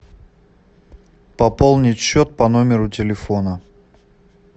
пополнить счет по номеру телефона